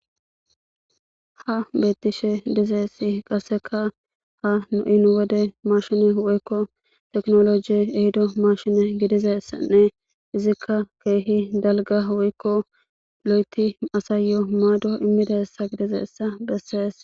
Ha beettishe dizeyssi qasseka ha nu iniwode maashine woykko teknoloji ehido mashine woykko tekinolooje ehido maashine gidizassanne izikka keehi dalgga woykko lo7eti asayyo maado immidayssa gidizayssa bessees.